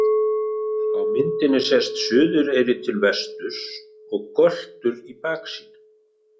Á myndinni sést Suðureyri til vesturs og Göltur í baksýn.